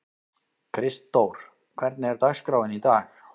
Kristdór, hvernig er dagskráin í dag?